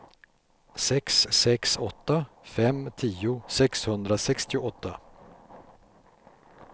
sex sex åtta fem tio sexhundrasextioåtta